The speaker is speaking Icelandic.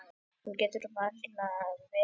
Hún getur varla verið ein.